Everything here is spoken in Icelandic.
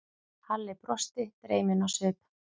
Halli brosti, dreyminn á svip.